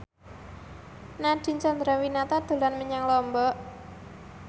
Nadine Chandrawinata dolan menyang Lombok